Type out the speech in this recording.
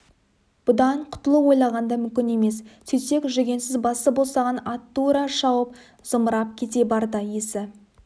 бұдан құтылу ойлағанда мүмкін емес сөйтсек жүгенсіз басы босаған ат тұра шауып зымырап кете барды есі